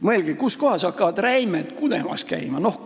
Mõelge, kus kohas hakkavad räimed kudemas käima!